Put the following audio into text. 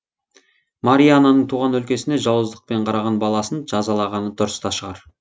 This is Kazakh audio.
мария ананың туған өлкесіне жауыздықпен қараған баласын жазалағаны дұрыс та шығар